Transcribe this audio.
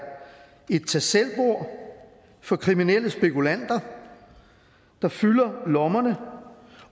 et tag selv bord for kriminelle spekulanter der fylder lommerne